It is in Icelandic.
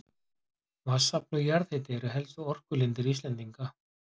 Vatnsafl og jarðhiti eru helstu orkulindir Íslendinga.